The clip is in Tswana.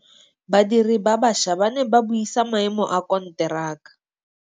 Badiri ba baša ba ne ba buisa maêmô a konteraka.